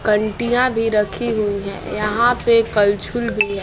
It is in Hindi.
कंटिया भी रखी हुई है यहा पे कलछुल भी है।